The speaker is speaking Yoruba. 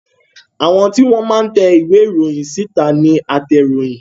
Àwọn tí wọn máa ń te ìwé ìròyìn síta ní atẹroyin